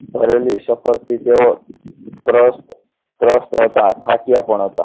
ભરેલી સફરથી તેઓ ત્રસ્ત ત્રસ્ત હતા થાક્યા પણ હતા